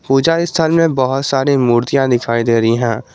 पूजा स्थान में बहुत सारी मूर्तियां दिखाई दे रही हैं।